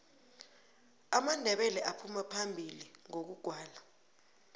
amandebele aphuma phambili ngokugwala